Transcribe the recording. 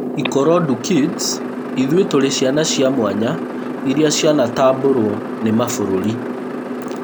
Ikorodu kids ithuĩ tũrĩ ciana cia mwanya iria cianatambũro nĩ mabũrũri